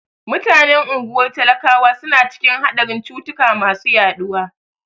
Mutanen unguwar talakawa suna cikin haɗarin cutuka masu yaɗuwa.